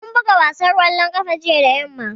Mun buga wasan ƙwallon ƙafa jiya da yamma